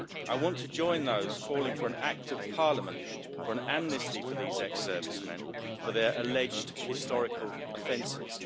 I want to join those calling for an act of Parliament for an amnesty for these ex servicemen for their alleged historical offences.